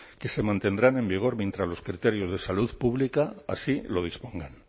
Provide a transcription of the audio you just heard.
que se mantendrán en vigor mientras los criterios de salud pública así lo dispongan